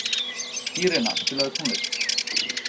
Írena, spilaðu tónlist.